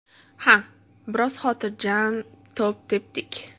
Ha, biroz xotirjam to‘p tepdik.